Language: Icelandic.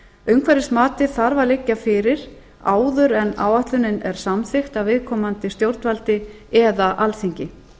umhverfismatið þarf að liggja fyrir áður en áætlunin er samþykkt af viðkomandi stjórnvaldi eða alþingi